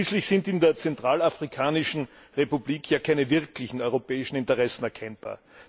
Schließlich sind in der Zentralafrikanischen Republik ja keine wirklichen europäischen Interessen erkennbar.